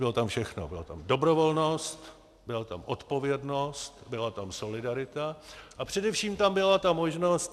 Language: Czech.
Bylo tam všechno, byla tam dobrovolnost, byla tam odpovědnost, byla tam solidarita a především tam byla ta možnost...